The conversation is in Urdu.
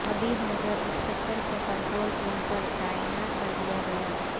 حبیب نگر انسپکٹر کو کنٹرول روم پر تعینات کردیا گیا